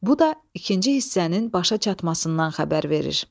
Bu da ikinci hissənin başa çatmasından xəbər verir.